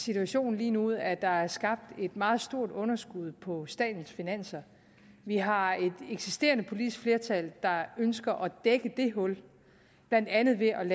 situation lige nu at der er skabt et meget stort underskud på statens finanser vi har et eksisterende politisk flertal der ønsker at dække det hul blandt andet ved at